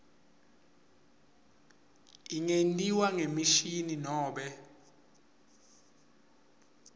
ingentiwa ngemishini nobe